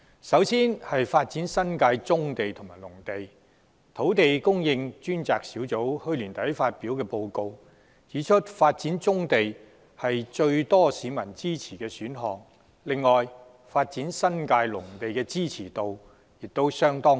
首先，就發展新界棕地和農地方面，土地供應專責小組去年年底發表報告，指出發展棕地是最多市民支持的選項；此外，發展新界農地的支持度亦相當高。